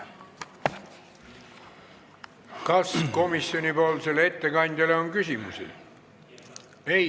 Kas komisjoni ettekandjale on küsimusi?